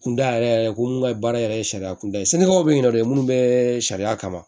Kunda yɛrɛ yɛrɛ ko mun ka baara yɛrɛ ye sariya kunda ye sɛnɛkɛlaw bɛ yen nɔ de minnu bɛ sariya kama